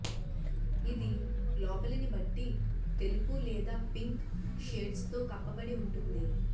ఇది లోపలిని బట్టి తెలుపు లేదా పింక్ షేడ్స్తో కప్పబడి ఉంటుంది